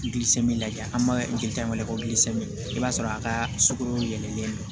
lajɛ an ma jeli ta kɛ ko i b'a sɔrɔ a ka sugoro yɛlɛlen don